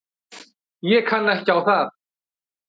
Ég kann ekki á það.